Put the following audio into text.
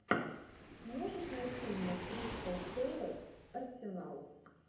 можешь найти мне кристал пэлас арсенал